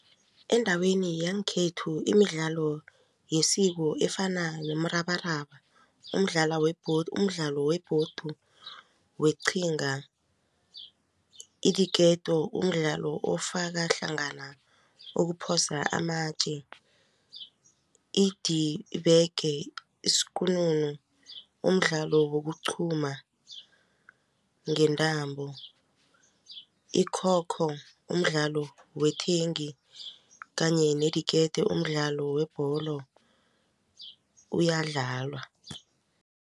Endaweni yangekhethu imidlalo yesiko efana nomrabaraba, umdlalo webhodi weqhinga, idiketo umdlalo ofaka hlangana ukuphosa amatje, idibeke isikununu umdlalo wokuqhuma ngentambo, ikhokho umdlalo wethengi kanye nediketo umdlalo webholo uyadlalwa.